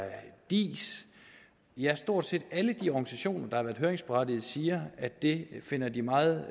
diis ja stort set alle de organisationer der har været høringsberettigede siger at det finder de meget